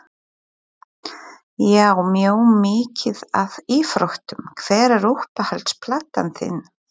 Já mjög mikið af íþróttum Hver er uppáhalds platan þín?